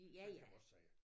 Sådan kan man også sige det